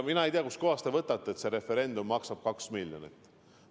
Mina ei tea, kust kohast te võtate, et see referendum maksab 2 miljonit.